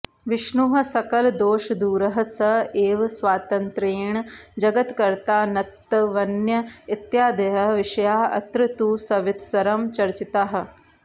विष्णुः सकलदोषदूरः सः एव स्वातन्त्र्येण जगत्कर्तानत्वन्यः इत्यादयः विषयाः अत्र तु सविस्तरं चर्चिताः